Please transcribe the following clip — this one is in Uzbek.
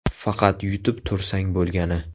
Faqat yutib tursang bo‘lgani.